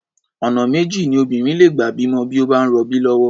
Ọ̀nà méjì ni obìnrin lè gbà bímọ bí ó bá ń rọbí lọ́wọ́.